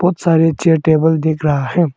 बहोत सारे chair table दिख रहा है।